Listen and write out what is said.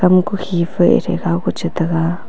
ama ku khi pe che taiga.